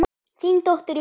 Þín dóttir Jóna.